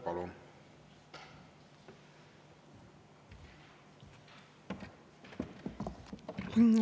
Palun!